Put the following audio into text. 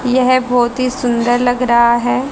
यह बहोत ही सुंदर लग रहा है।